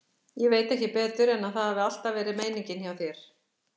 Ég veit ekki betur en að það hafi alltaf verið meiningin hjá þér.